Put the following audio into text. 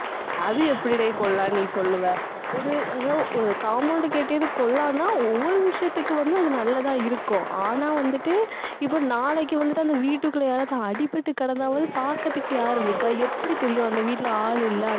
அது எப்படிடே நீ சொல்லுவ ஒரு, ஏதோ ஒரு compound கட்டியது ஒவ்வொரு விஷயத்துக்கும் வந்து அது நல்லதா இருக்கும். ஆனா வந்துட்டு இப்ப நாளைக்கு வந்துட்டு அந்த வீட்டுக்குள்ள யாராவது அடிபட்டு கிடந்தாவது பாக்குறதுக்கு யார் இருக்கா எப்படி தெரியும் அந்த வீட்டுல ஆளு இல்ல.